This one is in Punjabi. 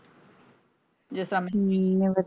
ਜਿਸਤਰਾਂ